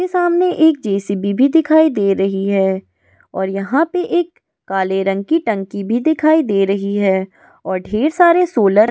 जिसके सामने एक जे.सी.बी भी दिखाई दे रही है और यहाँ पे एक काले रंग की टंकी भी दिखाई दे रही है और ढेर सारे सोलर --